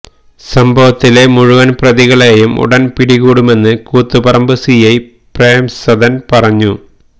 സംഭവത്തിലെ മുഴുവന് പ്രതികളെയും ഉടന് പിടികൂടുമെന്ന് കൂത്തുപറമ്പ് സിഐ പ്രേംസദന് പറഞ്ഞു